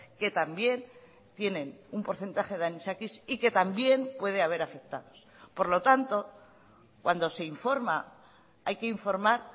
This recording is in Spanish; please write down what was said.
que también tienen un porcentaje de anisakis y que también puede haber afectados por lo tanto cuando se informa hay que informar